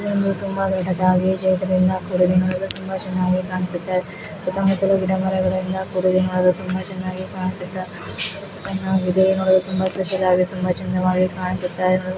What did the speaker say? ಇದು ತುಂಬಾ ದೊಡ್ಡದಾಗಿ ತುಂಬಾ ಚೆನ್ನಾಗಿ ಕಾಣಿಸುತ್ತಾ ಇದೆ. ತುಂಬಾ ಚೆಂದವಾಗಿ ಕಾಣಿಸುತ್ತಾ ಇರುವ--